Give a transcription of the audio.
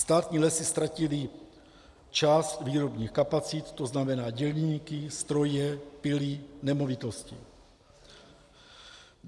Státní lesy ztratily část výrobních kapacit, to znamená dělníky, stroje, pily, nemovitosti.